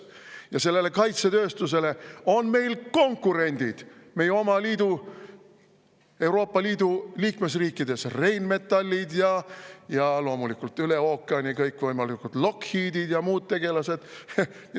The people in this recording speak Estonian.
Ja sellele kaitsetööstusele on meil konkurendid, meie oma liidu, Euroopa Liidu liikmesriikides, Rheinmetallid ja loomulikult üle ookeani kõikvõimalikud Lockheedid ja muud tegelased.